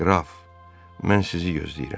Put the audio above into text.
"Qraf, mən sizi gözləyirəm."